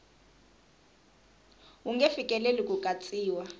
wu nge fikeleli ku katsiwa